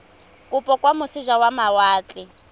kopo kwa moseja wa mawatle